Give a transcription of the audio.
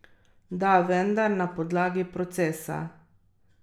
Da, vendar na podlagi procesa.